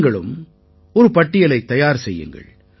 நீங்களும் ஒரு பட்டியலைத் தயார் செய்யுங்கள்